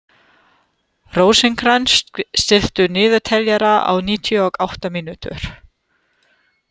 Rósinkrans, stilltu niðurteljara á níutíu og átta mínútur.